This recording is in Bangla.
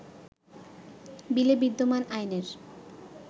বিলে বিদ্যমান আইনের